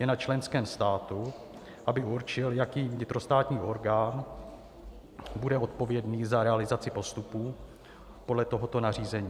Je na členském státu, aby určil, jaký vnitrostátní orgán bude odpovědný za realizaci postupů podle tohoto nařízení.